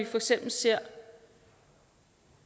for eksempel ser